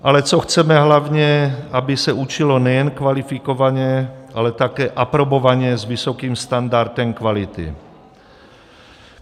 Ale co chceme hlavně, aby se učilo nejen kvalifikovaně, ale také aprobovaně s vysokým standardem kvality.